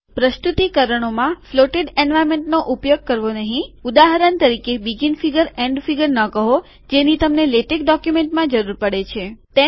પ્રસ્તુતિકરણોમાં floated એન્વાર્નમેન્ટોનો ઉપયોગ કરવો નહીં ઉદાહરણ તરીકે બીગીન ફીગર શરૂઆતની આકૃતિ એન્ડ ફીગર છેવટની આકૃતિ ન કહો જેની તમને લેટેક ડોક્યુમેન્ટમાં જરૂર પડે છે